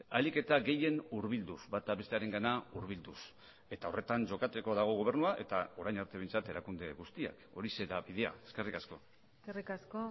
ahalik eta gehien hurbilduz bata bestearengana hurbilduz eta horretan jokatzeko dago gobernua eta orain arte behintzat erakunde guztiak horixe da bidea eskerrik asko eskerrik asko